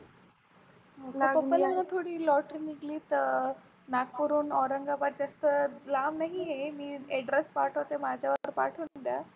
पप्पाला थोडी Lotery निघली तर नागपूरहून औरंगाबाद जास्त लांब नाही हे, मी Address पाठवते माझ्या पाठवून द्या.